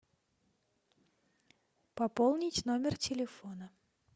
пополнить номер телефона